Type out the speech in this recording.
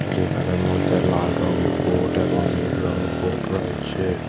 যেখানে মধ্যে লাল রঙের বোট এবং নীল রঙের বোট রয়েছে।